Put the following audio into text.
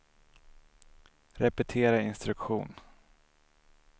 repetera instruktion